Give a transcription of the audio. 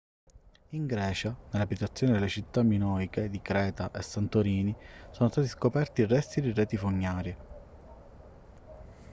in grecia nelle abitazioni delle città minoiche di creta e santorini sono stati scoperti resti di reti fognarie